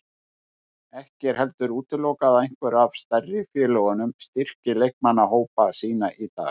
Ekki er heldur útilokað að einhver af stærstu félögunum styrki leikmannahópa sína í dag.